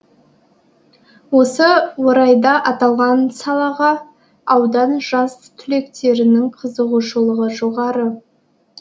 осы орайда аталған салаға аудан жас түлектерінің қызығушылығы жоғары